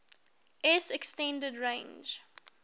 s extended range